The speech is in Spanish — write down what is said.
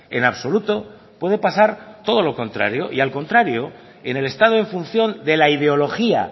en absoluto puede pasar todo lo contrario y al contrario en el estado en función de la ideología